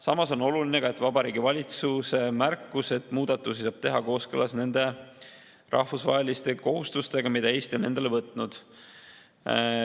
Samas on oluline ka Vabariigi Valitsuse märkus, et muudatusi saab teha kooskõlas nende rahvusvaheliste kohustustega, mis Eesti on endale võtnud.